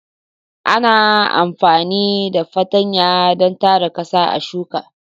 Ana amfani da fartanya don tara ƙasa a shuka.